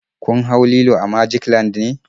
Kun hau lilo a magic land ne?